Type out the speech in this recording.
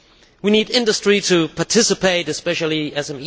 We need industry to participate, especially SMEs.